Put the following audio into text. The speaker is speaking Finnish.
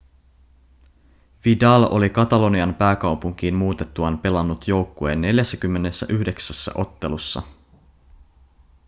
vidal oli katalonian pääkaupunkiin muutettuaan pelannut joukkueen 49 ottelussa